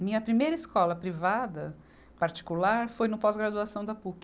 Minha primeira escola privada, particular, foi no pós-graduação da Puc.